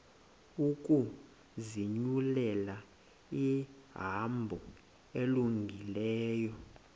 ukuzinyulela ihambo elungileyo